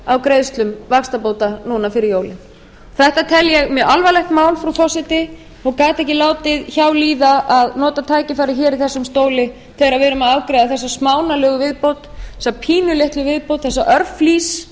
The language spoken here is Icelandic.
greiðslum vaxtabóta núna fyrir jólin þetta tel ég mjög alvarlegt mál frú forseti og gat ekki látið hjá líða að nota tækifærið hér í þessum stóli þegar við erum að afgreiða þessa smánarlegu viðbót þessa pínulitlu viðbót þessa